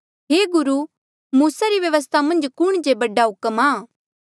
हे गुरु मूसा री व्यवस्था मन्झ कुण जे हुक्म बडा आ